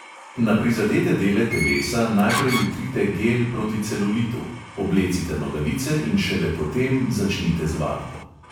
Na prizadete dele telesa najprej vtrite gel proti celulitu, oblecite nogavice in šele potem začnite z vadbo.